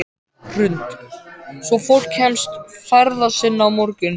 Hrund: Svo fólk kemst ferða sinna á morgun?